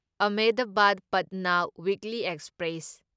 Ahmedabad Patna weekly express